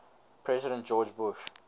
president george bush